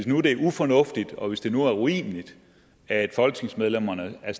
nu er ufornuftigt og hvis det nu er urimeligt at folketingsmedlemmerne er